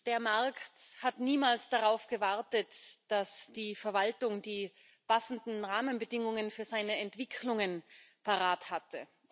Der Markt hat niemals darauf gewartet, dass die Verwaltung die passenden Rahmenbedingungen für seine Entwicklungen parat hatte.